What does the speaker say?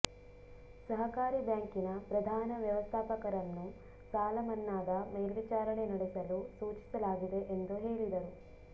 ಸಹಕಾರಿ ಬ್ಯಾಂಕಿನ ಪ್ರಧಾನ ವ್ಯವಸ್ಥಾಪಕರನ್ನು ಸಾಲ ಮನ್ನಾದ ಮೇಲ್ವಿಚಾರಣೆ ನಡೆಸಲು ಸೂಚಿಸಲಾಗಿದೆ ಎಂದು ಹೇಳಿದರು